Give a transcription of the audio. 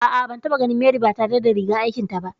A'a, ban taɓa ganin Mary ba tare da rigar aikin ta ba